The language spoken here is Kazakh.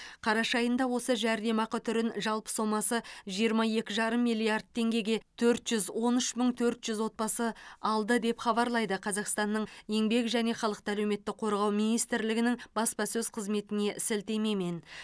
қараша айында осы жәрдемақы түрін жалпы сомасы жиырма екі жарым миллиард теңгеге төрт жүз он үш мың төрт жүз отбасы алды деп хабарлайды қазақстанның еңбек және халықты әлеуметтік қорғау министрлігінің баспасөз қызметіне сілтемемен